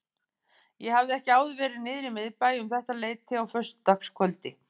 Ég hafði ekki áður verið niðri í miðbæ um þetta leyti á föstudagskvöldi.